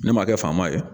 Ne ma kɛ faama ye